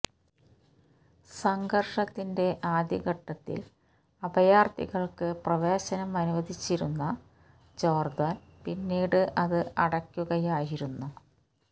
സംഘര്ഷത്തിന്റെ ആദ്യഘട്ടത്തില് അഭയാര്ഥികള്ക്ക് പ്രവേശനം അനുവദിച്ചിരുന്ന ജോര്ദാന് പിന്നീട് അത് അടക്കുകയായിരുന്നു